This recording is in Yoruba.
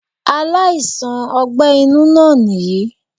Aláìsàn ogbé inú náà nìyí í